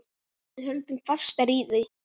Við höldum fastar í þau.